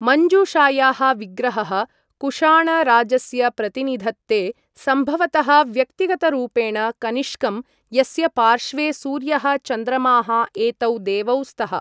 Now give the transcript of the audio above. मञ्जूषायाः विग्रहः कुशाण राजस्य प्रतिनिधत्ते, सम्भवतः व्यक्तिगतरूपेण कनिष्कम्, यस्य पार्श्वे सूर्यः चन्द्रमाः एतौ देवौ स्तः।